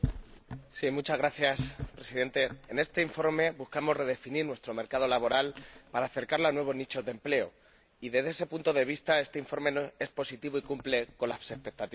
Señora Presidenta, en este informe buscamos redefinir nuestro mercado laboral para acercarlo a nuevos nichos de empleo y, desde ese punto de vista, este informe es positivo y cumple con las expectativas.